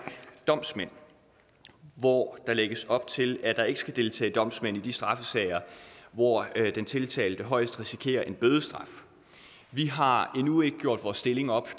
domsmænd hvor der lægges op til at der ikke skal deltage domsmænd i de straffesager hvor den tiltalte højst risikerer en bødestraf vi har endnu ikke gjort vores stilling op